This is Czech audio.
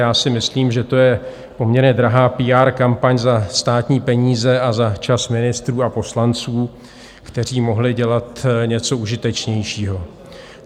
Já si myslím, že to je poměrně drahá PR kampaň za státní peníze a za čas ministrů a poslanců, kteří mohli dělat něco užitečnějšího.